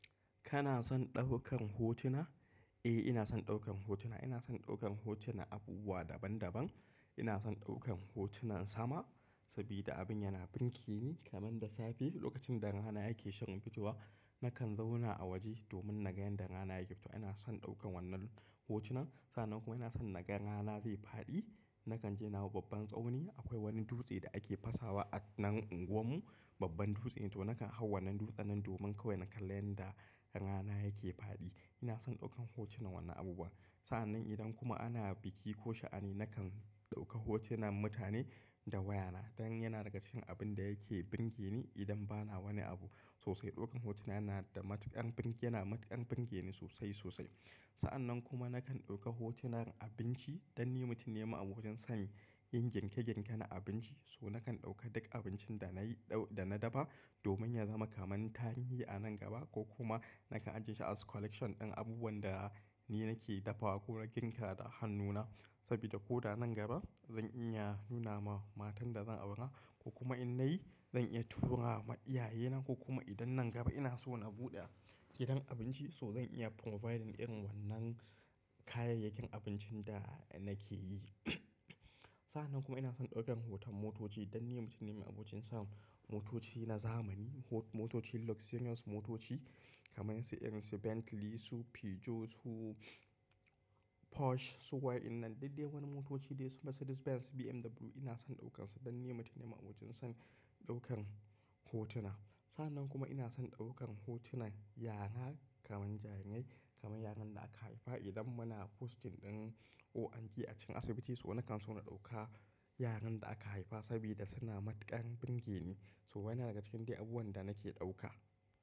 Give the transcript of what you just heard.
Kana son ɗaukar hotuna? Eh, ina son ɗaukar hotuna. Ina son ɗaukar hotunan abubuwa daban-daban. Ina son ɗaukar hotunan sama saboda abin yana burge ni kamar da safe lokacin da rana yake shirin fitowa. Na kan zauna a waje domin naga yadda rana yake fita. Ina son ɗaukar wannan hotunan. Sa'an nan kuma ina son naga rana zai faɗi. Na kan je na hau babban tsauni. Akwai wani dutse da ake fasawa a nan unguwar mu, babban dutse. To, na kan hau wannan dutsen nan domin kawai na kalla yanda rana yake faɗi. Ina son ɗaukar hotunan wannan abubuwa. Sa'an nan idan kuma ana biki ko sha'ani, nakan ɗauka hotunan mutane da wayana. Dan yana daga cikin abin da yake burge ni idan bana wani abu sosai. Ɗaukar hotuna yana da matuƙar burge, yana matuƙar burge ni sosai, sosai. Sa'an nan kuma na kan ɗauka hotunan abinci don ni mutum ne ma'abocin san yin girke-girke na abinci. So nakan ɗauka duk abincin da na yi, da na dafa domin ya zama kamar tarihi a nan gaba ko kuma na kan ajiyeshi a wasu collection din abubuwan da ni nake dafawa ko na girka da hannuna. Saboda ko da nan gaba zan iya nuna ma matan da zan aura ko kuma in nayi zan iya tura ma iyaye na ko kuma idan nan gaba ina so na buɗe gidan abinci, so zan iya providing irin wannan kayayyakin abincin da nake yi. Sa'an nan kuma ina son ɗaukar hoton motoci don ni mutum ne ma'abocin san motoci na zamani. Motoci luxurious motoci kamar su irin su Bentley su Peugeot su Porsche su wainnan duk dai wani motoci dai su Mercedes Benz, BMW. Ina son ɗaukan su don ni mutum ne ma'aboncin son ɗaukar hotuna. Sa'annan kuma ina son ɗaukar hotunan yara kamar jarirai, kamar yaran da aka haifa idan muna posting ɗin ORT a cikin asibiti. So nakan so na ɗauka yaran da aka haifa saboda suna matuƙar burge ni. To wannan yana daga cikin dai abubuwan da nake ɗauka.